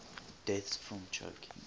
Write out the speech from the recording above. deaths from choking